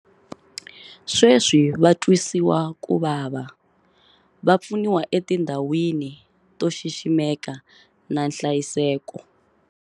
Sweswi va tswisiwakuvava va pfuniwa etindhawini to xiximeka na nhlayiseko.